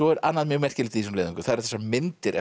annað mjög merkilegt í þessum leiðangri og það eru þessar myndir eftir